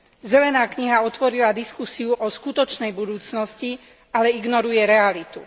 Zelená kniha otvorila diskusiu o skutočnej budúcnosti, ale ignoruje realitu.